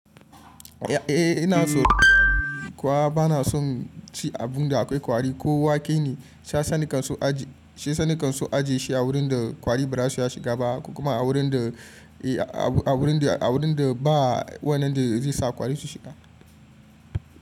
Eh ina so kuwa bana son ci abun da akwai kwari ko wake ne. Shiyasa na ke son ajiye shi a wurin da kwari ba za su iya shiga ba kuma a wurin da ba wannan da zai sa kwari su shiga.